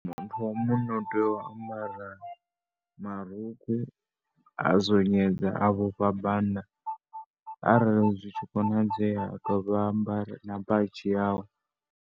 Muthu wa munna u tea u ambara marukhu, a zonyedza, a vhofha bannda. Arali zwi tshi konadzea a dovha a ambara na bazhi yawe.